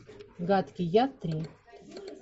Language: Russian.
гадкий я три